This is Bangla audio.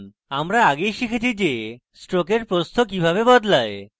আমরা আগেই শিখেছি যে stroke প্রস্থ কিভাবে বদলায়